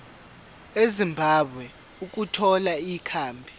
ezimbabwe ukuthola ikhambi